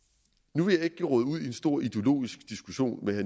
nu vil jeg ikke geråde ud i en stor ideologisk diskussion med